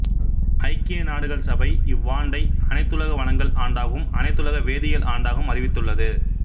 ஐக்கிய நாடுகள் சபை இவ்வாண்டை அனைத்துலக வனங்கள் ஆண்டாகவும் அனைத்துலக வேதியியல் ஆண்டாகவும் அறிவித்துள்ளது